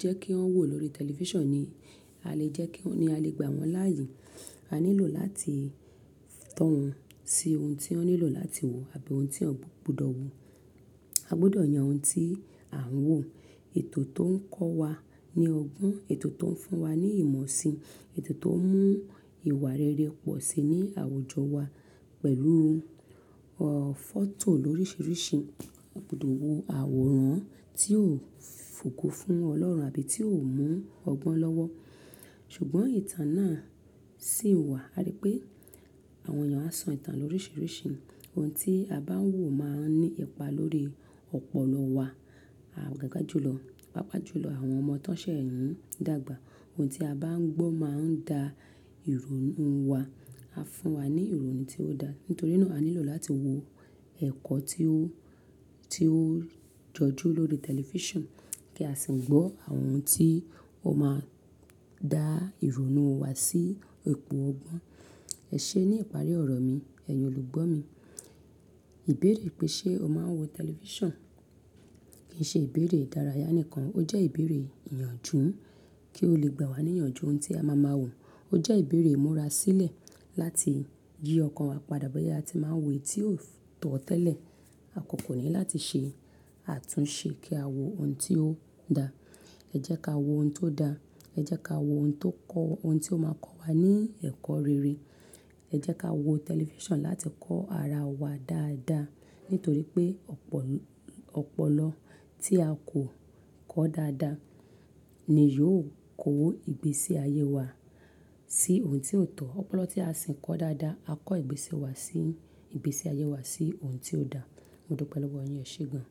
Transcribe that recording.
jẹ́ kí wọn wòó lórí tẹlifíṣàn ni a lè jẹ́ kí wọn, ni a lè gbà wọ́n láàyè. A nílò láti tọ́ wọn sí ohun tí wọn nílò láti wòó àbí ohun tí wọn gbọdọ̀ wòó. A gbọdọ̀ yàn ohun tí à ń wòó. Ètò tó ń kọ́ wa ní ọgbọ́n, ètò tó ń fún wa ní ìmọ̀ si, ètò tó ń mú ìwà rere pọ̀si ní àwùjọ wa pẹ̀lú, ọ, fọ́tò lóríṣiríṣi. A gbọdọ̀ wo àwòrán tí yóò fògo fún Ọlọ́run àbí tí yóò mú ọgbọ́n lọ́wọ́. Ṣùgbọ́n ìtàn náà sì wà. A rí pé àwọn èèyàn a sọ ìtàn lóríṣiríṣi. Ohun tí a bá ń wòó máa ń ní ipa lórí ọ̀pọ̀lọ wa. Awon gangan, pàápàá jùlọ àwọn ọmọ tó ṣẹ̀ n dàgbà. Ohun tí a bá ń gbọ́ máa ń da ìrònú wa. A fún wa ní ìrònú tí ó da. Nítorí náà a nílò láti wo ẹ̀kọ́ tí ó, tí ó jọjú lórí tẹlifíṣàn kí a sì ń gbọ́ àwọn ohun tí ó máa dá ìrònú wa sí ipò ọgbọ́n. Ẹṣé ní ìparí ọ̀rọ̀ mi, ẹ̀yin olùgbọ́ mi, ìbéèrè pé ṣe o máa ń wo tẹlifíṣàn kì í ṣe ìbéèrè ìdárayá nìkan, ó jẹ́ ìbéèrè ìyànjú kí ó lè gbà wá ní ìyànjú ohun tí a má máa wòó. Ó jẹ́ ìbéèrè ìmúra sílẹ̀ láti jí ọkàn wa padà bóyá a ti máa ń wo èyí tí yóò tọ́ tẹ́lẹ̀. Àkókò ni láti ṣe àtúnṣe kí a wo ohun tí ó da. Ẹjẹ́ ká wo ohun tó da, ẹ jẹ́ ká wo ohun tó kọ́, ohun tí ó máa kọ́ wa ní ẹ̀kọ́ rere. Ẹ jẹ́ ká wo tẹlifíṣàn láti kọ́ ara wa dáadáa. Nítorí pé ọ̀pọ̀, ọ̀pọ̀lọ́ tí a kò kọ́ dáadáa ni yóò kó ìgbésí ayé wa sí ohun tí ò tọ́. Ọ̀pọ̀lọ́ tí a sì ń kọ́ dáadáa á kọ ìgbési wa sí, ìgbésí ayé wa sí ohun tí ó da. Mo dúpẹ́ lọ́wọ́ yin, eṣé gan.